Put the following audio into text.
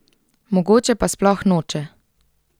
Mogoče pa sploh noče.